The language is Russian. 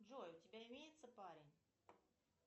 джой у тебя имеется парень